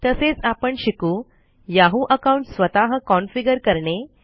तसेच आपण शिकू याहू अकाउंट स्वतः कॉन्फीगर करणे